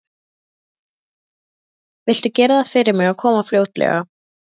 Viltu gera það fyrir mig að koma fljótlega?